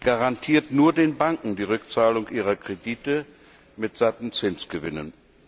garantiert nur den Banken die Rückzahlung ihrer Kredite mit satten Zinsgewinnen.